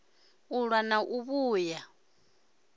u ṱwa na u vhuya